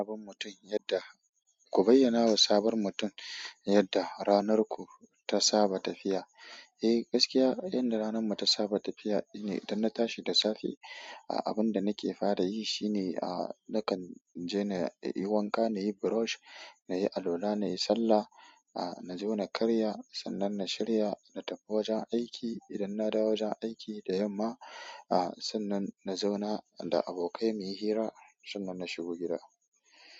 Sabon mutum yanda, ku bayyana wa sabon mutum yanda ranar ku ta saba tafiya. Eh, gaskiya inda ranar mu ta saba tafiya ne idan na tashi da safe, a abun da nake fara yi shine a nakan je na yi wanka, na yi brush, na yi alwala, na yi sallah, a na zo na karya, sannan na shirya na tafi wajen aiki. Idan na dawo wajen aiki da yamma, a sannan na zauna da abokai muyi hira, sannan na shiga gida.